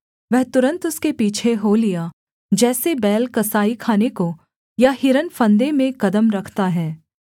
वह तुरन्त उसके पीछे हो लिया जैसे बैल कसाईखाने को या हिरन फंदे में कदम रखता है